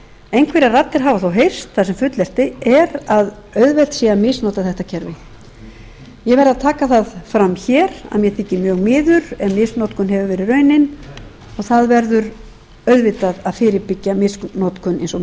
einhverjar raddir hafa þó heyrst þar sem fullyrt er að auðvelt sé að misnota þetta kerfi ég verð að taka það fram hér að mér þykir mjög miður ef misnotkun hefur verið raunin og það verður auðvitað að fyrirbyggja misnotkun eins og